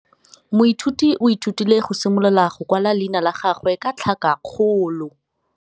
Moithuti o ithutile go simolola go kwala leina la gagwe ka tlhakakgolo.